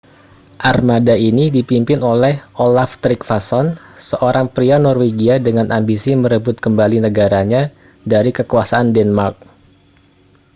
armada ini dipimpin oleh olaf trygvasson seorang pria norwegia dengan ambisi merebut kembali negaranya dari kekuasaan denmark